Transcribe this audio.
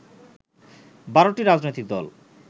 ১২টি রাজনৈতিক দল